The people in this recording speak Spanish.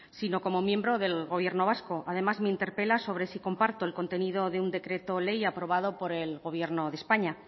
sino como miembro del gobierno vasco además me interpela sobre si comparto el contenido de un decreto ley aprobado por el gobierno de españa